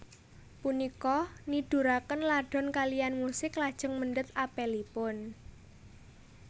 Punika niduraken Ladon kaliyan musik lajeng mendhet apelipun